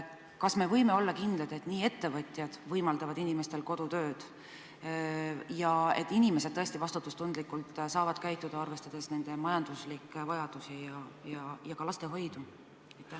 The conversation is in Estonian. Kas me võime olla kindlad, et ettevõtjad võimaldavad inimestel kodus töötada ja et inimesed tõesti saavad vastutustundlikult käituda, arvestades nende majanduslikke vajadusi ja lastehoiu võimalusi?